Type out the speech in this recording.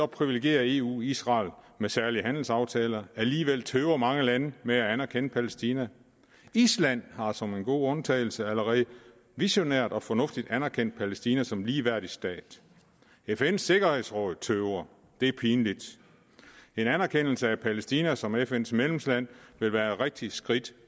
privilegerer eu israel med særlige handelsaftaler alligevel tøver mange lande med at anerkende palæstina island har som en god undtagelse allerede visionært og fornuftigt anerkendt palæstina som ligeværdig stat fns sikkerhedsråd tøver det er pinligt en anerkendelse af palæstina som fn medlemsland vil være et rigtigt skridt